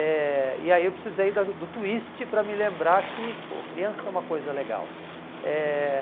Eh e aí eu precisei da do twist para me lembrar que, pô, criança é uma coisa legal. Eh